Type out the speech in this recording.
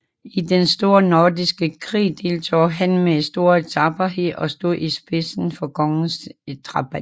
I Den Store Nordiske Krig deltog han med stor tapperhed og stod i spidsen for kongens drabanter